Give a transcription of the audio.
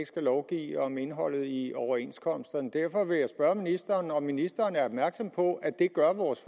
skal lovgive om indholdet i overenskomsterne derfor vil jeg spørge ministeren om ministeren er opmærksom på at det gør vores